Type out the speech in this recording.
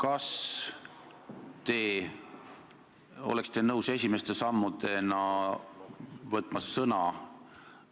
Kas te oleksite nõus esimeste sammudena võtma